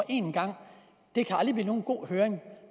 en gang kan aldrig blive nogen god høring